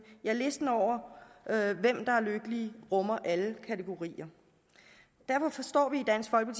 ja listen over hvem der er lykkelige rummer alle kategorier derfor forstår vi